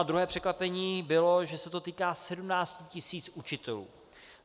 A druhé překvapení bylo, že se to týká 17 tisíc učitelů.